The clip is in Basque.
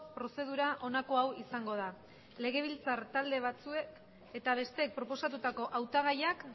prozedura honako hau izango da legebiltzar talde batzuek eta besteek proposatutako hautagaiak